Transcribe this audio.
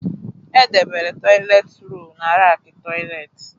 Edebela toịletị rọlụ n'rackị toịletị.